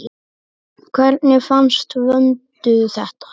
Hvernig fannst Vöndu þetta?